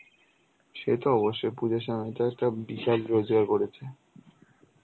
সে তো অবশ্যই পুজোর সময় তো একটা বিশাল রোজগার করেছে.